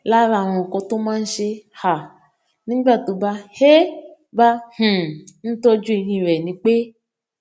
lára àwọn nǹkan tó máa ń ṣe um nígbà tó bá um bá um ń tójú eyín rè ni pé